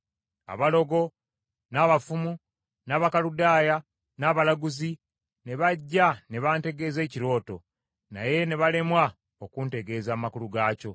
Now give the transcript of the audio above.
Abalogo, n’abafumu, n’Abakaludaaya, n’abalaguzi ne bajja, ne mbategeeza ekirooto, naye ne balemwa okuntegeeza amakulu gaakyo.